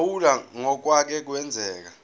phawula ngokwake kwenzeka